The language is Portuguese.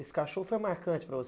Esse cachorro foi marcante para você.